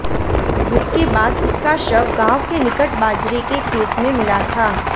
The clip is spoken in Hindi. जिस के बाद उसका शव गांव के निकट बाजरे के खेत में मिला था